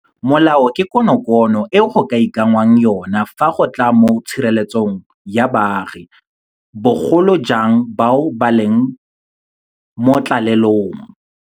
Molao ke konokono e go ka ikanngwang yona fa go tla mo tshireletsong ya baagi, bogolo jang bao ba leng mo tlalelong.